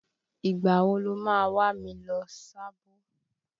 Ìgbà wo lo ma wà mí lọ Sábó?